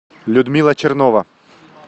людмила чернова